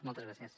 moltes gràcies